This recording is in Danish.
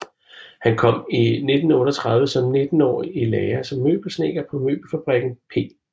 Han kom i 1938 som nittenårig i lære som møbelsnedker på møbelfabrikken P